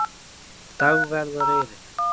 Dagverðareyri